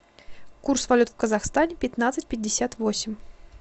курс валют в казахстане пятнадцать пятьдесят восемь